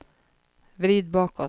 vrid bakåt